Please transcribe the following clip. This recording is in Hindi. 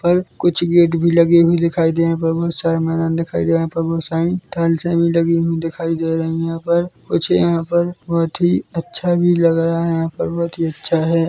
और कुछ गेट भी लगे हुए दिखाई दे रहे है यहाँ पर बहोत सारे मैदान दिखाई दे रही है यहाँ पर बहोत सारी टाइल्से भी लगी हुई दिखाई दे रही है यहाँ पर कुछ यहाँ पर बहुत ही अच्छा भी लग रहा है यहाँ पर बहुत ही अच्छा है।